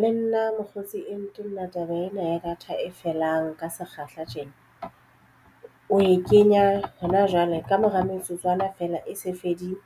Le nna mokgotsi e ntenne taba ena ya data e felang ka sekgahla tjena o e kenya hona jwale ka mora metsotswana feela e se fedile